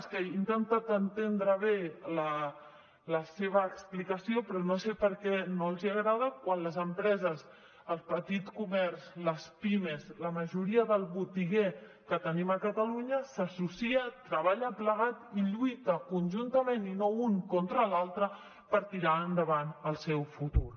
és que he intentat entendre bé la seva explicació però no sé per què no els agrada quan les empreses el petit comerç les pimes la majoria del botiguer que tenim a catalunya s’associa treballa plegat i lluita conjuntament i no un contra l’altre per tirar endavant el seu futur